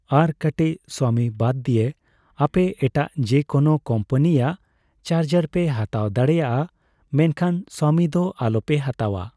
ᱟᱨ ᱠᱟᱴᱤᱪ ᱥᱟᱣᱢᱤ ᱵᱟᱫ ᱫᱤᱭᱮ ᱟᱯᱮ ᱮᱴᱟᱜ ᱡᱮ ᱠᱳᱱᱳ ᱠᱳᱢᱯᱟᱱᱤᱭᱟᱜ ᱪᱟᱨᱡᱟᱨ ᱯᱮ ᱦᱟᱛᱟᱣ ᱫᱟᱲᱮᱭᱟᱜᱼᱟ ᱢᱮᱱᱠᱷᱟᱱ ᱥᱟᱣᱢᱤ ᱫᱚ ᱟᱞᱚᱯᱮ ᱦᱟᱛᱟᱣᱟ ᱾